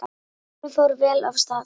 Kornið fór vel af stað.